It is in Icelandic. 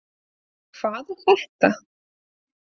Hvað er þetta